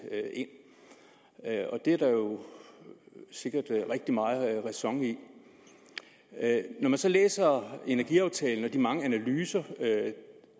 og det er der jo sikkert rigtig meget ræson i når man så læser energiaftalen og de mange analyser